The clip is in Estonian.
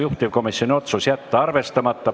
Juhtivkomisjoni otsus: jätta arvestamata.